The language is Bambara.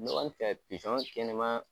Ne kɔni fɛ kɛnɛman